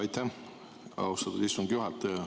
Aitäh, austatud istungi juhataja!